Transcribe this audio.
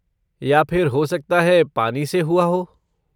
या फिर हो सकता है पानी से हुआ हो?